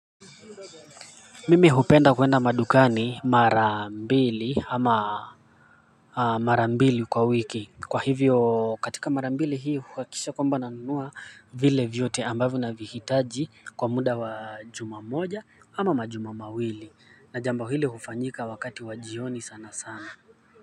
Mimi hupenda kwenda madukani mara mbili ama mara mbili kwa wiki kwa hivyo katika mara mbili hii huhakikisha kwamba nanunua vile vyote ambavyo navihitaji kwa muda juma moja ama majuma mawili na jambo hili hufanyika wakati wa jioni sana sana kwa hivyo.